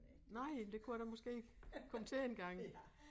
Nej men det kunne jeg da måske komme til engang